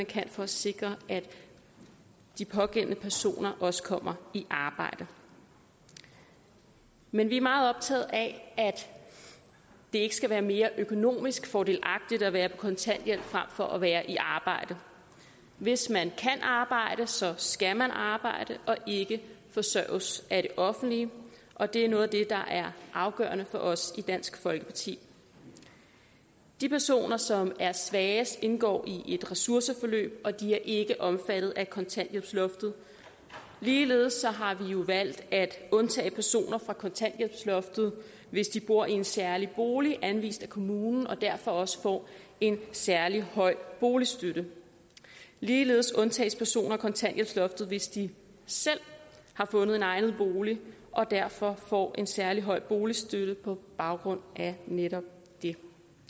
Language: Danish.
kan for at sikre at de pågældende personer også kommer i arbejde men vi er meget optaget af at det ikke skal være mere økonomisk fordelagtigt at være på kontanthjælp frem for at være i arbejde hvis man kan arbejde så skal man arbejde og ikke forsørges af det offentlige og det er noget af det der er afgørende for os i dansk folkeparti de personer som er svagest indgår i et ressourceforløb og de er ikke omfattet af kontanthjælpsloftet ligeledes har vi jo valgt at undtage personer fra kontanthjælpsloftet hvis de bor i en særlig bolig anvist af kommunen og derfor også får en særlig høj boligstøtte ligeledes undtages personer fra kontanthjælpsloftet hvis de selv har fundet en egnet bolig og derfor får en særlig høj boligstøtte på baggrund af netop det